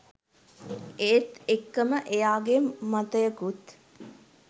ඒත් එක්කම එයාගෙ මතයකුත්